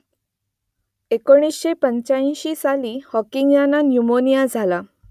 एकोणीसशे पंचाऐंशी साली हॉकिंग यांना न्यूमोनिया झाला